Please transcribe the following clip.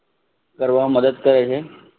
કરવા મદદ કરે છે.